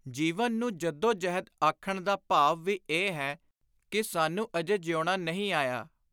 ਜੀਵਨ ਨੂੰ ਜੱਦੋ-ਜਹਿਦ ਆਖਣ ਦਾ ਭਾਵ ਵੀ ਇਹ ਹੈ ਕਿ ਸਾਨੂੰ ਅਜੇ ਜੀਉਣਾ ਨਹੀਂ ਆਇਆ।